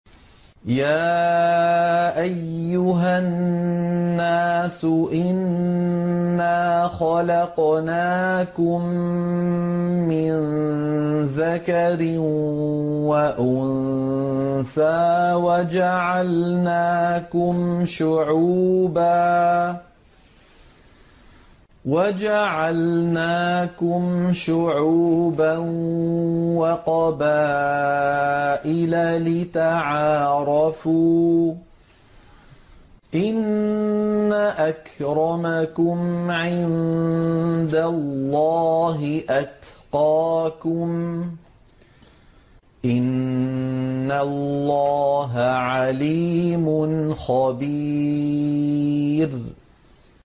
يَا أَيُّهَا النَّاسُ إِنَّا خَلَقْنَاكُم مِّن ذَكَرٍ وَأُنثَىٰ وَجَعَلْنَاكُمْ شُعُوبًا وَقَبَائِلَ لِتَعَارَفُوا ۚ إِنَّ أَكْرَمَكُمْ عِندَ اللَّهِ أَتْقَاكُمْ ۚ إِنَّ اللَّهَ عَلِيمٌ خَبِيرٌ